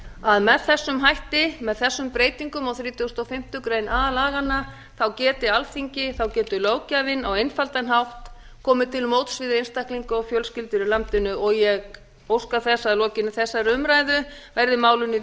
að með þessum hætti með þessum breytingum á þrítugasta og fimmtu grein a laganna geti alþingi þá geti löggjafinn á einfaldan hátt komið til móts við einstaklinga og fjölskyldur í landinu og ég óska þess að að lokinni þessari umræðu verði málinu